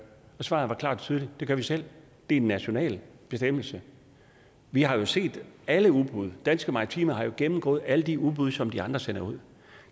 svaret er klart og tydeligt det gør vi selv det er en national bestemmelse vi har jo set alle udbud danske maritime har jo gennemgået alle de udbud som de andre sender ud